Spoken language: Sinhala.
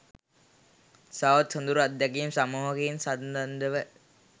තවත් සොදුරු අත්දැකීම් සමූහයකින්ද සන්නද්ධව